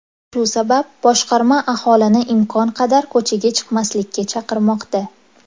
Shu sabab boshqarma aholini imkon qadar ko‘chaga chiqmaslikka chaqirmoqda.